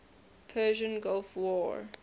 persian gulf war